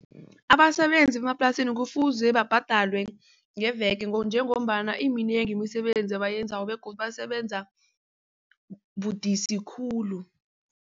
Abasebenzi bemaplasini kufuze babhadalwe ngeveke njengombana iminengi imisebenzi abayenzako begodu basebenza budisi khulu.